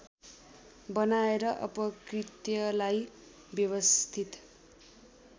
बनाएर अपकृत्यलाई व्यवस्थित